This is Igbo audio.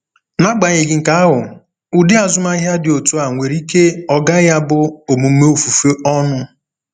N’agbanyeghị nke ahụ, ụdị azụmahịa dị otu a nwere ike ọ gaghị abụ omume ofufe ọnụ.